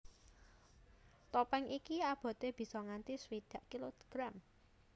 Topèng iki aboté bisa nganti swidak kilogram